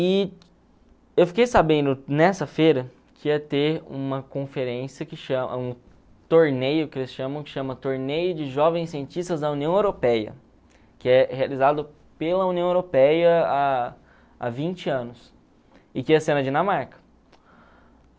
E eu fiquei sabendo nessa feira que ia ter uma conferência que um torneio que eles chamam de Torneio de Jovens Cientistas da União Europeia, que é realizado pela União Europeia há há vinte anos, e que ia ser na Dinamarca.